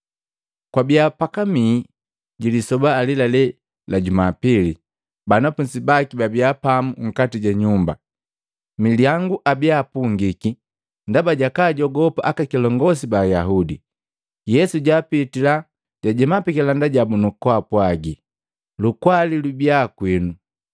Kwabiya pakamii ji lisoba alelale la juma pili, banafunzi baki pababiya pamu nkati ju nyumba, milyangu babia apungiki ndaba jakajogopa akakiliongosi ba Ayaudi, Yesu jaapitila, jajema pikilanda jabu nukupwaaga, “Lukwali lubiya kwinu.”